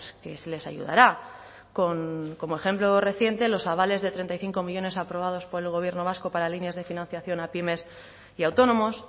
que se les ayudará como ejemplo reciente los avales de treinta y cinco millónes aprobados por el gobierno vasco para líneas de financiación a pymes y autónomos